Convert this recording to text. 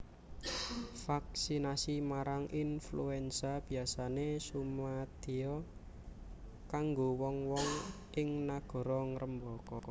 Vaksinasi marang influenza biyasané sumadiya kanggo wong wong ing nagara ngrembaka